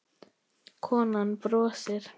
Konan brosir.